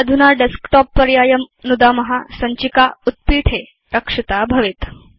अधुना Desktopपर्यायं नुदाम सञ्चिका उत्पीठे रक्षिता भवेत्